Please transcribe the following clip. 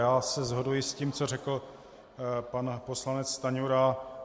Já se shoduji s tím, co řekl pan poslanec Stanjura.